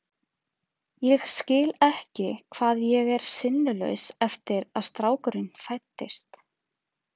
Ég skil ekki hvað ég er sinnulaus eftir að strákurinn fæddist.